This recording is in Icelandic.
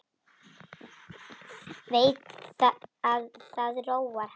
Veit að það róar hann.